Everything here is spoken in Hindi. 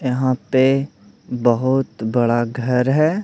यहाँ पे बहुत बड़ा घर है।